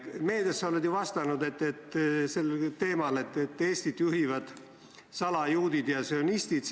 Meedias oled sa vastanud sellel teemal, et Eestit juhivad salajuudid ja sionistid.